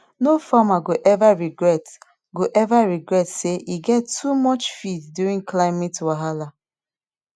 no farmer go ever regret go ever regret say e get too much feed during climate wahala